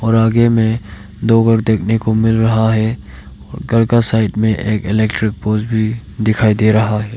और आगे में दो घर देखने को मिल रहा है और घर का साइड में एक इलेक्ट्रिक पोल्स भी दिखाई दे रहा है।